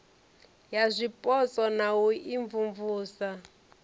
ya zwipotso na u imvumvusa